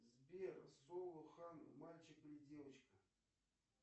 сбер соло хан мальчик или девочка